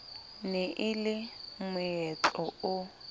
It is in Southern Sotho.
ne e le moetlo o